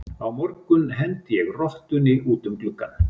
Á morgun hendi ég rottunni út um gluggann.